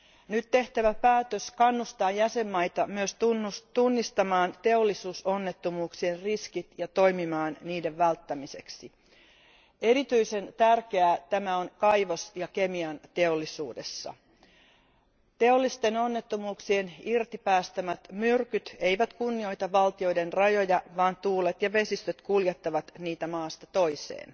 Nyt tehtävä päätös kannustaa jäsenvaltioita myös tunnistamaan teollisuusonnettomuuksien riskit ja toimimaan niiden välttämiseksi. Erityisen tärkeää tämä on kaivos ja kemianteollisuudessa. Teollisten onnettomuuksien irtipäästämät myrkyt eivät kunnioita valtioiden rajoja, vaan tuulet ja vesistöt kuljettavat niitä maasta toiseen.